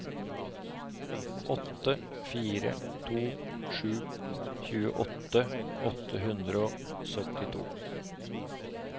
åtte fire to sju tjueåtte åtte hundre og syttito